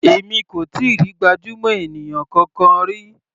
Èmi kò tíì rí gbajúmọ̀ ènìyàn kankan rí.